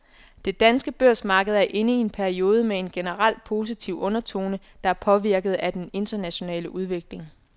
Det danske børsmarked er inde i en periode med en generelt positiv undertone, der er påvirket af den internationale udvikling.